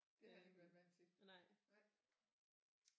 Det har han ikke været vant til nej